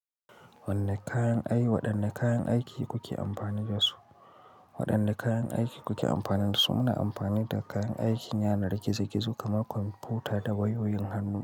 Wanne kayan ayuwa, wanne kayan aiki kuke amfani da su? Waɗanne kayan aiki kuke amfani da su? Muna amfani da kayan aikin yanar gizo gizo kamar kwamfuta da wayoyin hannu.